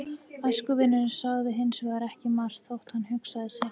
Æskuvinurinn sagði hins vegar ekki margt þótt hann hugsaði sitt.